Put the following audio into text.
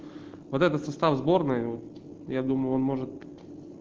вот этот состав сборной я думаю он может